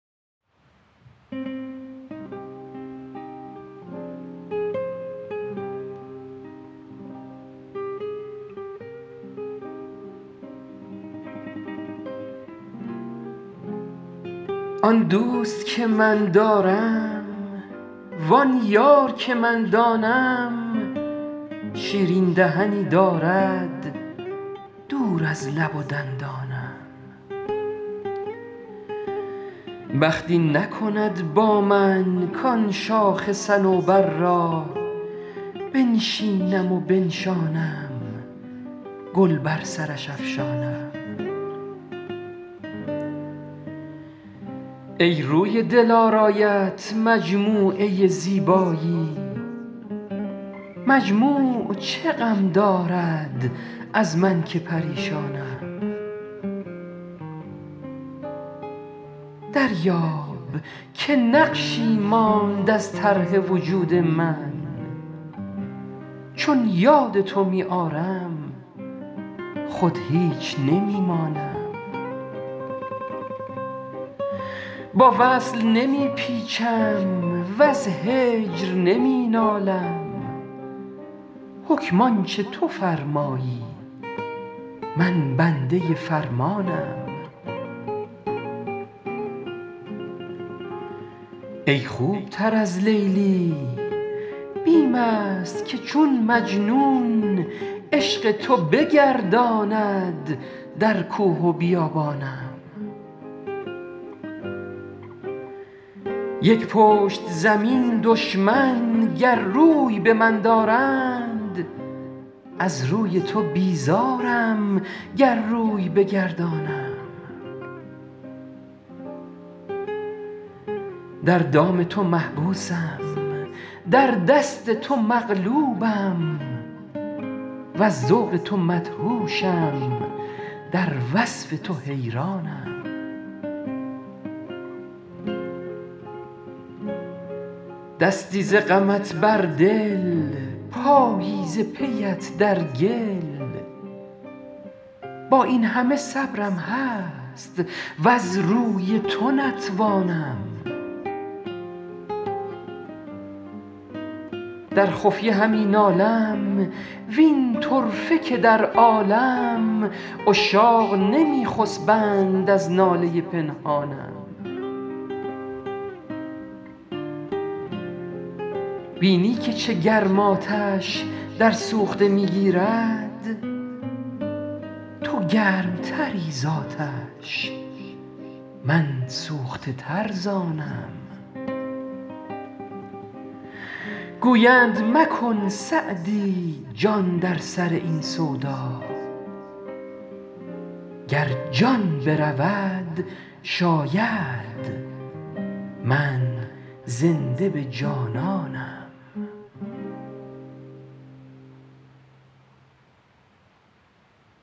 آن دوست که من دارم وآن یار که من دانم شیرین دهنی دارد دور از لب و دندانم بخت این نکند با من کآن شاخ صنوبر را بنشینم و بنشانم گل بر سرش افشانم ای روی دلارایت مجموعه زیبایی مجموع چه غم دارد از من که پریشانم دریاب که نقشی ماند از طرح وجود من چون یاد تو می آرم خود هیچ نمی مانم با وصل نمی پیچم وز هجر نمی نالم حکم آن چه تو فرمایی من بنده فرمانم ای خوب تر از لیلی بیم است که چون مجنون عشق تو بگرداند در کوه و بیابانم یک پشت زمین دشمن گر روی به من آرند از روی تو بیزارم گر روی بگردانم در دام تو محبوسم در دست تو مغلوبم وز ذوق تو مدهوشم در وصف تو حیرانم دستی ز غمت بر دل پایی ز پی ات در گل با این همه صبرم هست وز روی تو نتوانم در خفیه همی نالم وین طرفه که در عالم عشاق نمی خسبند از ناله پنهانم بینی که چه گرم آتش در سوخته می گیرد تو گرم تری زآتش من سوخته تر ز آنم گویند مکن سعدی جان در سر این سودا گر جان برود شاید من زنده به جانانم